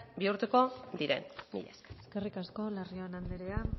bihurtuko diren mila esker eskerrik asko larrion andrea